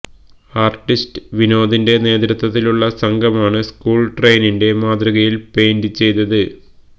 artist വിനോദിന്റെ നേതൃത്വത്തിലുള്ള സംഘമാണ് സ്ക്കൂള് ട്രെയിനിന്റെ മാതൃകയില് പെയിന്റ് ചെയ്തത്